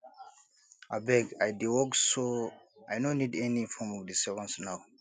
abeg i dey work so i no need any form of disturbance now